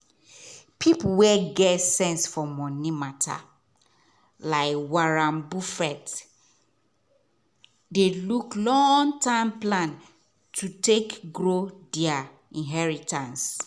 people wey get sense for money matter like warren buffett dey look long-term plan to take grow their inheritance.